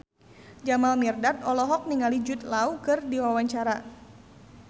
Jamal Mirdad olohok ningali Jude Law keur diwawancara